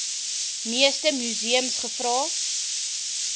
meeste museums gevra